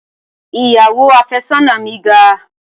Ìyàwó àfẹ́sọ́nà mi ga.